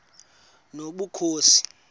nobukhosi